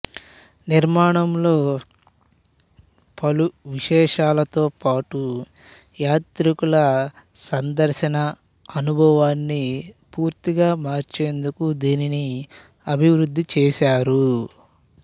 నిర్మాణంలో పలు విశేషాలతో పాటూ యాత్రికుల సందర్శనా అనుభవాన్ని పూర్తిగా మార్చేందుకు దీనిని అభివృద్ధి చేశారు